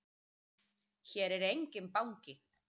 Hér er enginn banki!